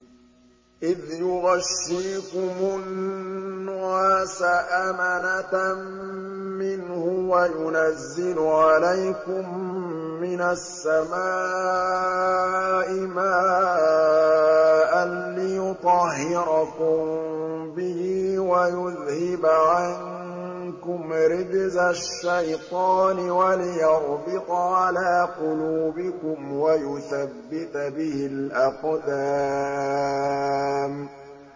إِذْ يُغَشِّيكُمُ النُّعَاسَ أَمَنَةً مِّنْهُ وَيُنَزِّلُ عَلَيْكُم مِّنَ السَّمَاءِ مَاءً لِّيُطَهِّرَكُم بِهِ وَيُذْهِبَ عَنكُمْ رِجْزَ الشَّيْطَانِ وَلِيَرْبِطَ عَلَىٰ قُلُوبِكُمْ وَيُثَبِّتَ بِهِ الْأَقْدَامَ